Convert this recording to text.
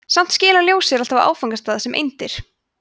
samt skilar ljós sér alltaf á áfangastað sem eindir